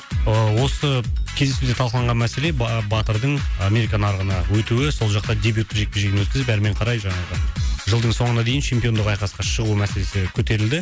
ыыы осы кездесуде талқыланған мәселе батырдың америка нарығына өтуі сол жаққа дебюттік жекпе жегін өткізіп әрмен қарай жаңағы жылдың соңына дейін чемпиондық айқасқа шығу мәселесі көтерілді